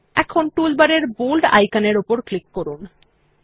এখন টুলবারের বোল্ড আইকনের উপর ক্লিক করুন